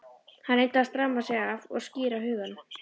Hann reyndi að stramma sig af og skýra hugann.